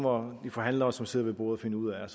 må de forhandlere som sidder ved bordet finde ud af